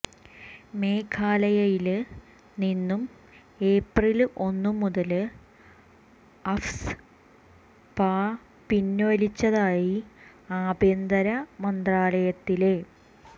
മേഘാലയയില് നിന്ന് ഏപ്രില് ഒന്നു മിതല് അഫ്സ്പ പിന്വലിച്ചതായി ആഭ്യന്തര മന്ത്രാലയത്തിലെ